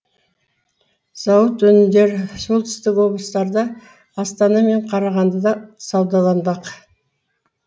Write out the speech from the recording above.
зауыт өнімдері солтүстік облыстарда астана мен қарағандыда саудаланбақ